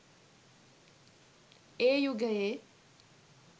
ඒ යුගයේ